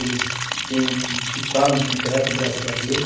Eles ficaram com o teto, graças a Deus.